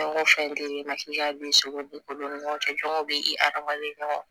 Fɛn o fɛn di ma bi seko dun ko don ni ɲɔgɔn cɛ jɔnw bɛ i hadamaden ɲɔgɔn